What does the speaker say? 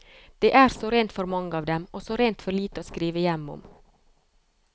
Det er så rent for mange av dem, og så rent for lite å skrive hjem om.